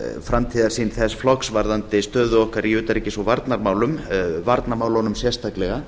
framtíðarsýn þess flokks varðandi stöðu okkar í utanríkis og varnarmálum varnarmálunum sérstaklega